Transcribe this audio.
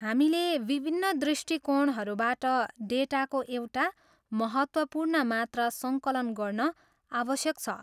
हामीले विभिन्न दृष्टिकोणहरूबाट डेटाको एउटा महत्त्वपूर्ण मात्रा सङ्कलन गर्न आवश्यक छ।